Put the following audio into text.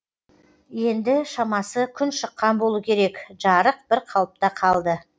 енді шамасы күн шыққан болу керек жарық бір қалыпта қалды